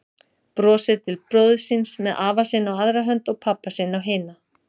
Brosir til bróður síns með afa sinn á aðra hönd og pabba sinn á hina.